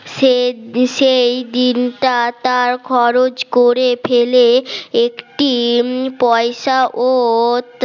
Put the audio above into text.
সে সেই দিনটা তার খরচ করে ফেলে একটি পয়সা ও